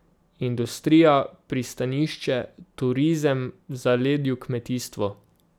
Industrija, pristanišče, turizem, v zaledju kmetijstvo.